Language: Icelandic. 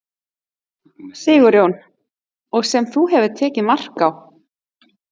Sigurjón: Og sem þú hefur tekið mark á?